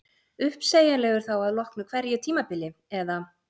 Uppsegjanlegur þá að loknu hverju tímabili eða?